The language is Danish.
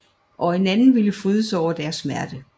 Og en anden vil fryde sig over deres smerte